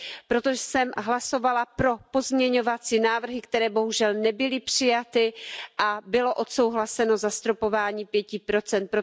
Proto jsem hlasovala pro pozměňovací návrhy, které bohužel nebyly přijaty, a bylo odsouhlaseno zastropování pěti procent.